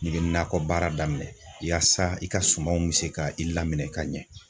N'i be nakɔbaara daminɛ yaasa i ka sumanw be se ka i lamini ka ɲɛ